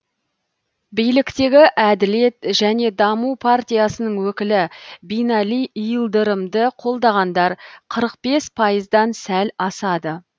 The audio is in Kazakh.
биліктегі әділет және даму партиясының өкілі бинали и ылдырымды қолдағандар қырық бес пайыздан сәл асады